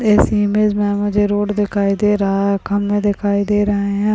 इस इमेज में मुझे रोड दिखाई दे रहा है खंबे दिखाई दे रहे है।